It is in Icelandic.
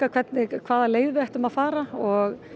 hvaða leið við ættum að fara og